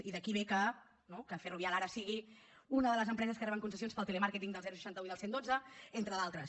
i d’aquí ve que no que ferrovial ara sigui una de les empreses que reben concessions per al telemàrqueting del seixanta un i del cent i dotze entre d’altres